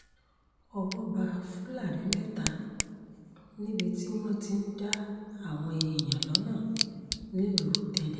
owó bá fúlàní mẹ́ta níbi tí wọ́n ti ń dá àwọn èèyàn lọ́nà nílùú tẹ́dẹ́